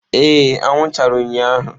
Ee anwụ chara ụnyahụ.